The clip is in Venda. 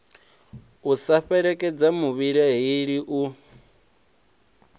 u sa fhelekedza muvhilaheli u